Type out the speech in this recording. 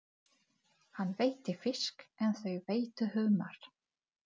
Hann veiddi fisk en þau veiddu humar.